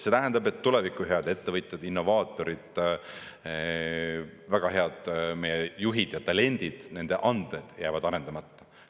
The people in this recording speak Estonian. See tähendab, et tuleviku head ettevõtjad, innovaatorid, väga head meie juhid ja talendid, nende anded jäävad arendamata.